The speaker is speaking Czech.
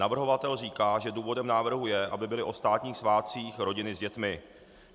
Navrhovatel říká, že důvodem návrhu je, aby byly o státních svátcích rodiny s dětmi.